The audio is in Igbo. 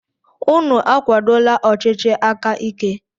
Unu akwadola ọchịchị aka ike!